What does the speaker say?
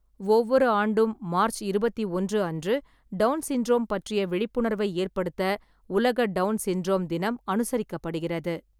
ஒவ்வொரு ஆண்டும் மார்ச் இருபத்தி ஒன்று அன்று, டவுன் சிண்ட்ரோம் பற்றிய விழிப்புணர்வை ஏற்படுத்த உலக டவுன் சிண்ட்ரோம் தினம் அனுசரிக்கப்படுகிறது.